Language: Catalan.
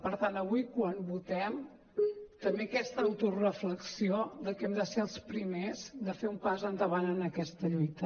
per tant avui quan votem també aquesta autoreflexió que hem de ser els primers de fer un pas endavant en aquesta lluita